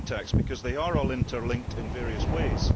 because they are all interlinked in various ways.